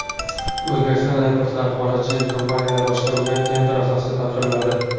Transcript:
O‘zbekiston aeroportlari xorijiy kompaniyalar boshqaruviga tender asosida topshiriladi.